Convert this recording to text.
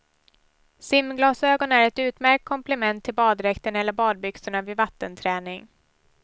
Simglasögon är ett utmärkt komplement till baddräkten eller badbyxorna vid vattenträning.